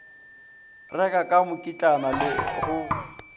reka ka mokitlana le go